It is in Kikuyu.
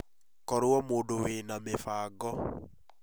Korũo mundu wiĩ na mĩbango